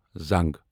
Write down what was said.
زنگ